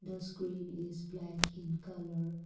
the screen is black in colour.